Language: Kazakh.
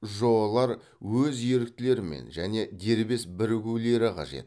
жоо лар өз еріктелерімен және дербес бірігулері қажет